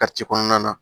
kɔnɔna na